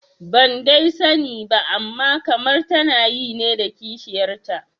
Ban dai sani ba amma kamar tana yi ne da kishiyarta